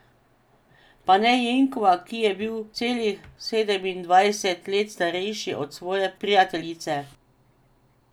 Pa ne Jenkova, ki je bil celih sedemindvajset let starejši od svoje prijateljice.